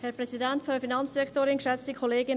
Kommissionssprecherin der FiKo.